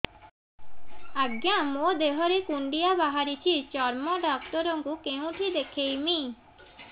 ଆଜ୍ଞା ମୋ ଦେହ ରେ କୁଣ୍ଡିଆ ବାହାରିଛି ଚର୍ମ ଡାକ୍ତର ଙ୍କୁ କେଉଁଠି ଦେଖେଇମି